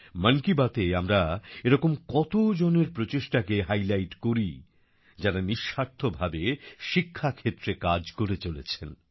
মন কি বাতএ আমরা এরকম কত জনের প্রচেষ্টাকে হাইলাইট করি যারা নিঃস্বার্থভাবে শিক্ষাক্ষেত্রে কাজ করে চলেছেন